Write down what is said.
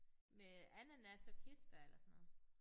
Med ananas og kirsebær eller sådan noget